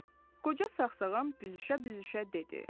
Qoca sağsağan büzüşə-büzüşə dedi.